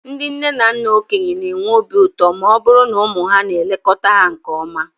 Ndị nne na nna okenye ga-enwe obi ụtọ ma ọ bụrụ na ụmụ ha na-elekọta ha nke ọma.